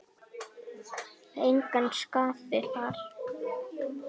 Engan sakaði þar.